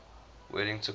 wedding took place